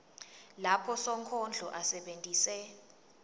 lapho sonkondlo asebentise